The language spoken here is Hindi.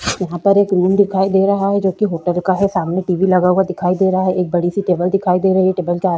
यहाँ पर एक रूम दिखाई दे रहा है जो कि होटल का है सामने टी_वी लगा हुआ दिखाई दे रहा है एक बड़ी सी टेबल दिखाई दे रही है टेबल के --